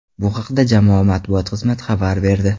Bu haqda jamoa matbuot xizmati xabar berdi.